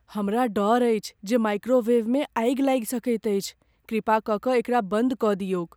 हमरा डर अछि जे माइक्रोवेवमे आगि लागि सकैत अछि। कृपा कऽ कऽ एकरा बन्द कऽ दियौक।